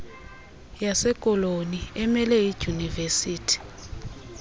yasekoloni emele iidyunivesithi